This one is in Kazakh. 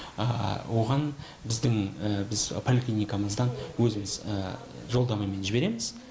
оған біздің біз поликлиникамыздан өзіміз жолдамамен жібереміз